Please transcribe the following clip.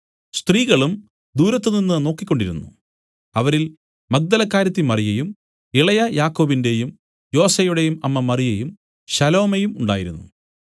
സ്ത്രീകളും ദൂരത്തുനിന്ന് നോക്കിക്കൊണ്ടിരുന്നു അവരിൽ മഗ്ദലക്കാരത്തി മറിയയും ഇളയ യാക്കോബിന്റെയും യോസെയുടെയും അമ്മ മറിയയും ശലോമയും ഉണ്ടായിരുന്നു